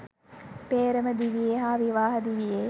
පේ්‍රම දිවියේ හා විවාහ දිවියේ